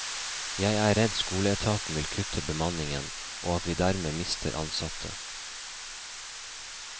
Jeg er redd skoleetaten vil kutte bemanningen, og at vi dermed mister ansatte.